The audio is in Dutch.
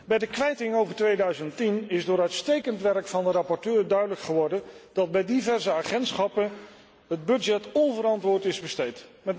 Bij de kwijting over 2010 is door uitstekend werk van de rapporteur duidelijk geworden dat bij diverse agentschappen het budget onverantwoord is besteed.